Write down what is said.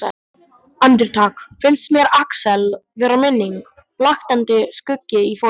Andartak finnst mér Axel vera minning, blaktandi skuggi í fortíð.